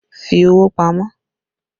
Fi owó pamọ́!